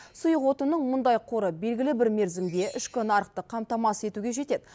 сұйық отынның мұндай қоры белгілі бір мерзімге ішкі нарықты қамтамасыз етуге жетеді